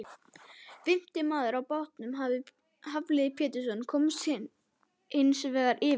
Fimmti maður á bátnum, Hafliði Pétursson, komst hins vegar af.